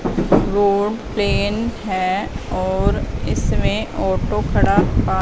road plain है और इसमें ऑटो खड़ा हुआ--